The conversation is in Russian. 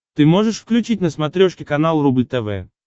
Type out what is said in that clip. ты можешь включить на смотрешке канал рубль тв